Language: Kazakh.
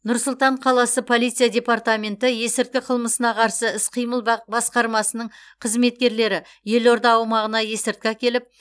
нұр сұлтан қаласы полиция департаменті есірткі қылмысына қарсы іс қимыл бақ басқармасының қызметкерлері елорда аумағына есірткі әкеліп